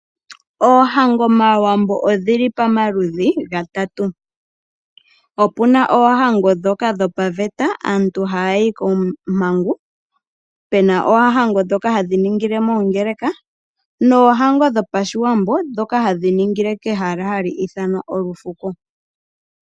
Oohango mAawambo odhili pamaludhi gatatu, opuna oohango dhoka dhopaveta, aantu haya yi koompangu, pena oohango dhoka hadhi ningile mongeleka, noohango dhopashiwambo hadhi ningile kehala hali ithanwa olufuko.